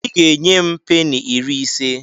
I ga-enye m peni iri ise.